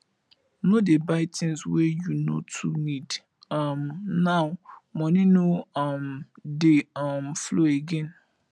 no dey buy tins wey you no too need um now moni no um dey um flow again